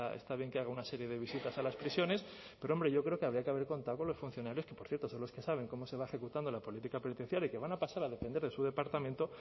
está bien que haga una serie de visitas a las prisiones pero hombre yo creo que habría que haber contado con los funcionarios que por cierto son los que saben cómo se va ejecutando la política penitenciaria y que van a pasar a depender de su departamento